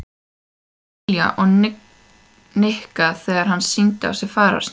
Lilja við Nikka þegar hann sýndi á sér fararsnið.